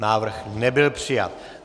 Návrh nebyl přijat.